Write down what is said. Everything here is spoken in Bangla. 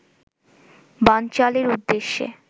বানচালের উদ্দেশ্যে